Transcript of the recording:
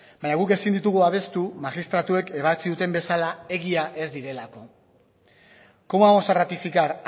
baina guk ezin ditugu babestu magistratuek ebatzi duten bezala egia ez direlako cómo vamos a ratificar